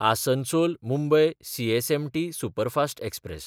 आसनसोल–मुंबय CSMT superfast express